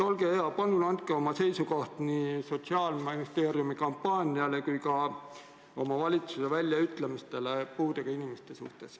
Olge hea, palun öelge oma seisukoht nii Sotsiaalministeeriumi kampaania kui ka oma valitsuse liikmete väljaütlemiste suhtes, mis puudutavad puudega inimesi.